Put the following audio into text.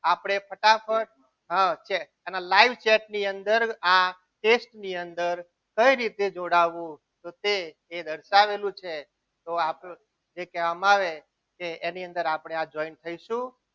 આપણે ફટાફટ તેના live chat ની અંદર આ test ની અંદર કઈ રીતે જોડાવું તો તે દર્શાવેલું છે તો જે કહેવામાં આવે તેની અંદર આપણે આ જોઇન થઈશું.